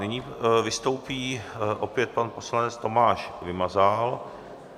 Nyní vystoupí opět pan poslanec Tomáš Vymazal.